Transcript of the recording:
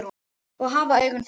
Oss hafa augun þessi